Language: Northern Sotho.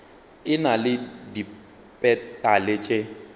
e na le dipetale tše